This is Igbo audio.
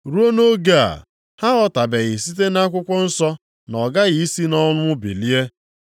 (Ruo nʼoge a, ha aghọtabeghị site nʼakwụkwọ nsọ na ọ ghaghị i si nʼọnwụ bilie.)